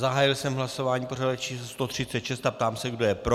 Zahájil jsem hlasování pořadové číslo 136 a ptám se, kdo je pro.